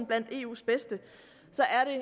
blandt eus bedste